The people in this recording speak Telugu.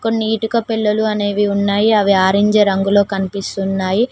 కొన్ని ఇటుక పెల్లలు అనేవి ఉన్నాయి అవి ఆరెంజ్ రంగులో కనిపిస్తున్నాయి.